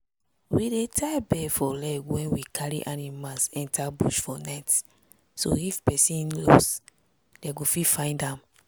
we dey tie bell for leg when we carry animals enter bush for night so if pesin lost dem go fit find am.